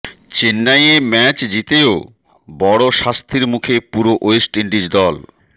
চেন্নাইয়ে ম্যাচ জিতেও বড় শাস্তির মুখে পুরো ওয়েস্ট ইন্ডিজ দল